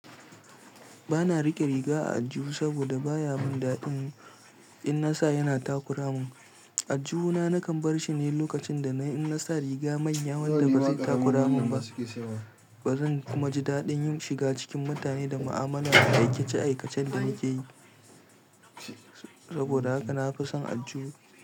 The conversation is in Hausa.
Ba na riƙe riga a aljihu saboda baya mun daɗin in na sa yana takura mun. Aljihu na nakan barshi ne lokacin da na in na sa riga manya wanda ba su takura mun ba. Ba zan kuma ji daɗin yin shiga cikin mutane da ma'amala da aikice-aikacen da nake yi. Saboda haka na fi son aljihu.